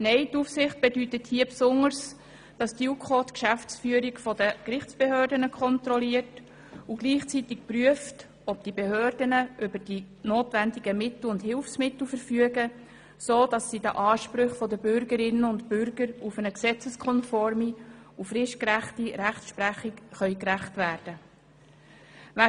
Nein, Aufsicht bedeutet hier insbesondere, dass die JuKo die Geschäftsführung der Gerichtsbehörden kontrolliert und gleichzeitig prüft, ob diese Behörden über die nötigen Mittel und Hilfsmittel verfügen, sodass sie den Ansprüchen der Bürgerinnen und Bürger auf eine gesetzeskonforme und fristgerechte Rechtsprechung gerecht werden können.